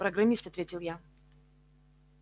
программист ответил я